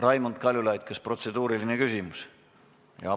Raimond Kaljulaid, kas protseduuriline küsimus?